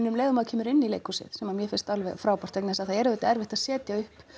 um leið og maður kemur inn í leikhúsið sem að mér finnst alveg frábært vegna þess að það er auðvitað erfitt að setja upp